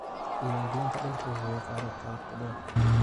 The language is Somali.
Diiwaangelinta dhulku waxay qaadataa wakhti dheer.